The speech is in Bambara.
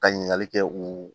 Ka ɲininkali kɛ u